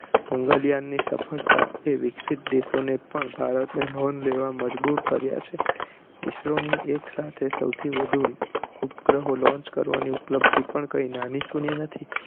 મંગળયાન ની સફળતા એ વિક્સિત દેશો ને પણ ભારત ની નોંધ લેવા મજબુર કર્યા છે isro ની એક સાથે સૌથી વધુ ઉપગ્રહો launch કરવાની ઉપલબ્ધી પણ કઈ નાનીસૂની નથી